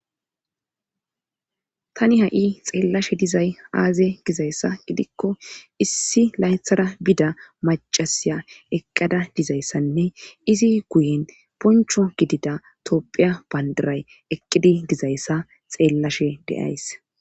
Tani ha7i xeellashe dizay aaze gizayssa gidikko issi laythara bida macasiya eqqada dizayssanne izi guyen poncho gidida topphiya bandiray eqqidi gizayssa xeellashe deays.